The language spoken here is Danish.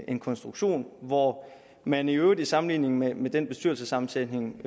en konstruktion hvor man i øvrigt i sammenligning med med den bestyrelsessammensætning